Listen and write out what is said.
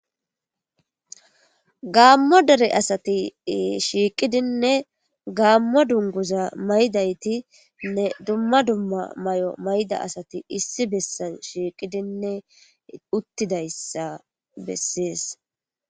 gaammo dere asati shiiqidinne gaammo dunguza maydaytinne dumma dumma mayo mayda asati issi bessan shiiqidinne uttidayssa bessees